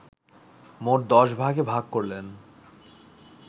মোট দশ ভাগে ভাগ করলেন